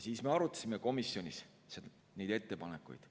Siis me arutasime komisjonis neid ettepanekuid.